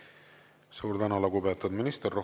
Suur tänu, lugupeetud minister!